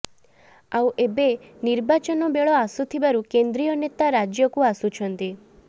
ଆଉ ଏବେ ନିର୍ବାଚନ ବେଳ ଆସୁଥିବାରୁ କେନ୍ଦ୍ରୀୟ ନେତା ରାଜ୍ୟକୁ ଆସୁଛନ୍ତି